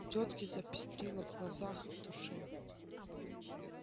у тётки запестрило в глазах и в душе